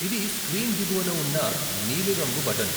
ఇది స్క్రీన్ దిగువన ఉన్న నీలి రంగు బటన్.